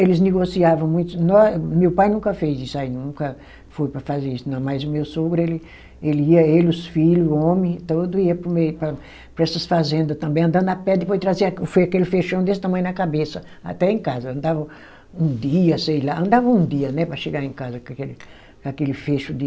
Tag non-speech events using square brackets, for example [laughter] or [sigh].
Eles negociavam muito, nó, meu pai nunca fez isso aí, nunca foi para fazer isso, não, mas o meu sogro, ele, ele ia, ele, os filho homem, todo, ia para o meio, para para essas fazenda também, andando a pé, depois trazia aquele [unintelligible] desse tamanho na cabeça, até em casa, andava um dia, sei lá, andava um dia, né, para chegar em casa com aquele, com aquele feixe de...